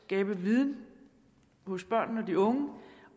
skabe viden hos børnene og de unge